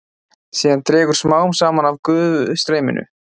Síðan dregur smám saman úr gufustreyminu.